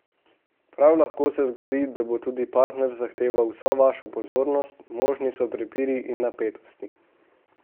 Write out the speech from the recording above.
Prav lahko se zgodi, da bo tudi partner zahteval vso vašo pozornost, možni so prepiri in napetosti.